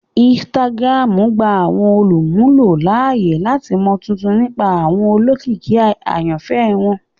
Instagram gba awọn olumulo laaye lati mọ tuntun nipa awọn olókìkí ayanfẹ wọn